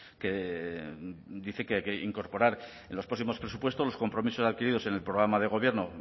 que dice que hay que incorporar en los próximos presupuestos los compromisos adquiridos en el programa de gobierno